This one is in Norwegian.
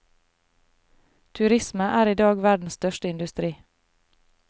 Turisme er i dag verdens største industri.